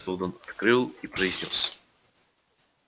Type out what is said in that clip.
сэлдон открыл и произнёс